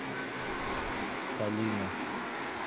калина